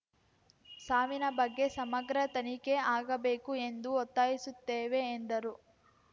ಸಾವಿನ ಬಗ್ಗೆ ಸಮಗ್ರ ತನಿಖೆ ಆಗಬೇಕು ಎಂದು ಒತ್ತಾಯಿಸುತ್ತೇವೆ ಎಂದರು